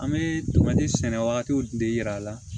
An bɛ tomani sɛnɛ wagatiw de yira a la